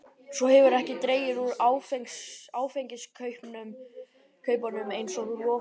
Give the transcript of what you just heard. Svo hefurðu ekki dregið úr áfengiskaupunum eins og þú lofaðir.